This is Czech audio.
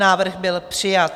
Návrh byl přijat.